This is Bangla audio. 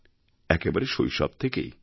একেবারে শৈশব থেকেই